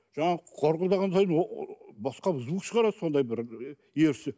жаңағы қорқылдаған сайын басқа звук шығарады сондай бір ерсі